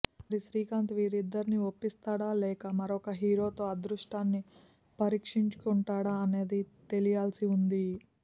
మరి శ్రీకాంత్ వీరిద్దరిని ఒప్పిస్తాడా లేక మరొక హీరో తో అదృష్టాన్ని పరీక్షించుకుంటాడా అనేది తెలియాల్సి ఉంది